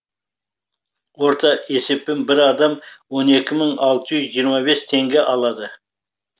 орта есеппен бір адам он екі мың алты жүз жиырма бес теңге алады